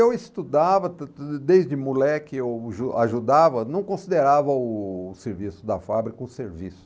Eu estudava, desde moleque eu ju ajudava, não considerava o serviço da fábrica um serviço.